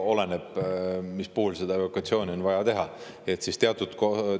Oleneb, mis puhul seda evolutsiooni on vaja teha, kas see puudutab ühte või teist kriisi.